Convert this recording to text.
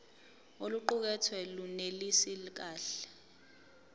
oluqukethwe lunelisi kahle